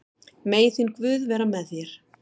Megi þinn guð vera með þér.